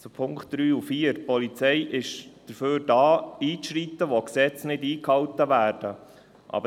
Zu den Punkten 3 und 4: Die Polizei ist da, um einzuschreiten, wo Gesetze nicht eingehalten werden.